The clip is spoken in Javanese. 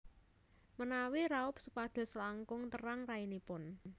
Menawi raup supados langkung terang rainipun